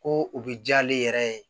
Ko u bɛ diya ale yɛrɛ ye